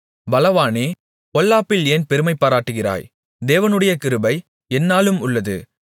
பலவானே பொல்லாப்பில் ஏன் பெருமைபாராட்டுகிறாய் தேவனுடைய கிருபை எந்நாளும் உள்ளது